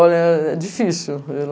Olha, é difícil.